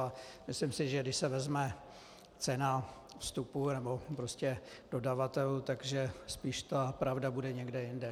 A myslím si, že když se vezme cena vstupu nebo prostě dodavatelů, takže spíš ta pravda bude někde jinde.